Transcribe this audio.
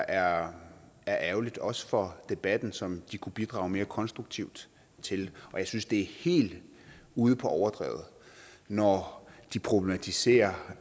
er ærgerligt også for debatten som de kunne bidrage mere konstruktivt til jeg synes det er helt ude på overdrevet når de problematiserer